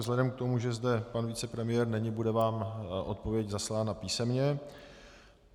Vzhledem k tomu, že zde pan premiér není, bude vám odpověď zaslána písemně.